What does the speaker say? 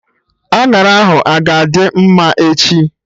Añara ahụ a-ga adị mma echi?